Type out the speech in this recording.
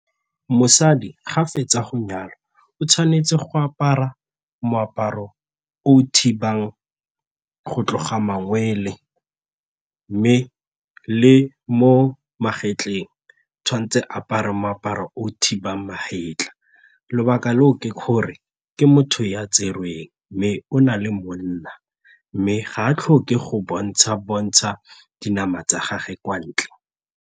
Mosadi ga fetsa go nyalwa o tshwanetse go apara moaparo o o thibang go tloga mangwele mme le mo magetleng tshwanetse a apare moaparo o thibang maetla, lobaka leo ke gore ke motho ya tserweng mme o na le monna mme ga a tlhoke go bontsha-bontsha dinama tsa gagwe kwa ntle.